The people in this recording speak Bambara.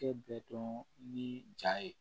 Kɛ bɛ dɔn ni jaa ye